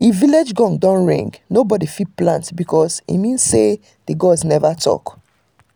if village gong no ring nobody fit plant because e mean say the gods never talk.